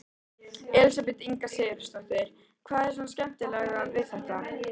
Elísabet Inga Sigurðardóttir: Hvað er svona skemmtilegt við þetta?